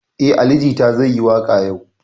Eh, Ali jita zai yi waka yau.